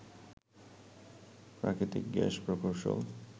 প্রাকৃতিক গ্যাস প্রকৌশল